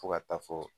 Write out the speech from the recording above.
Fo ka taa fɔ